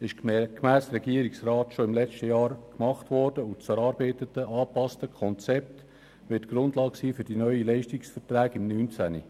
Diese ist gemäss Regierungsrat bereits im letzten Jahr durchgeführt worden, und das erarbeitete angepasste Konzept wird die Grundlage für die neuen Leistungsverträge 2019 sein.